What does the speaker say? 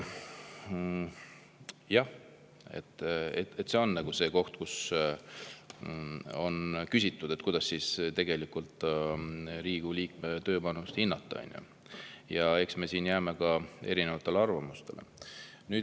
Jah, on küsitud, kuidas tegelikult Riigikogu liikme tööpanust hinnata, ja eks me jääme siin erinevatele arvamustele.